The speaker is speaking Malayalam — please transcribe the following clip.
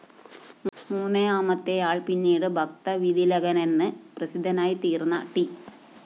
മൂന്നാമത്തെയാൾ പിന്നീട് ഭക്തകവിതിലകനെന്ന് പ്രസിദ്ധനായിത്തീർന്ന ട്‌